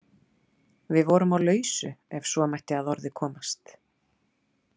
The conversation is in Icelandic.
Við vorum á lausu ef svo mætti að orði komast.